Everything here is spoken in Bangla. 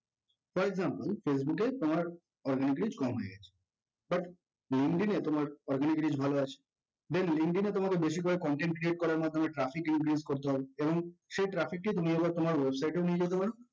for example facebook এ তোমার organic reach কম হয়ে গেছে but linkedin এ তোমার organic reach ভালো আছে then linkedin এ তোমার ঐ বেশিরভাগ content create করার মাধ্যমে traffic increase করতে হবে যেমন সেই traffic কেই তুমি আবার তোমার website এও নিয়ে যেতে পারো